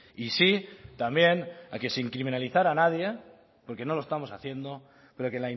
y sí también a que sin criminalizar a nadie porque no lo estamos haciendo pero que